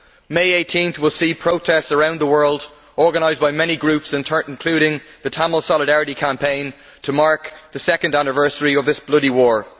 On 18 May, there will be protests around the world organised by many groups, including the Tamil Solidarity Campaign, to mark the second anniversary of this bloody war.